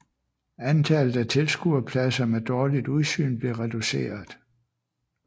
Antallet af tilskuerpladser med dårligt udsyn blev reduceret